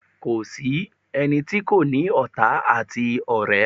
Kò sí ẹni tí kò ní ọ̀tá àti ọ̀rẹ́.